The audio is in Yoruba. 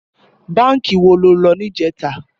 Bànkí wó ló lò nijètá?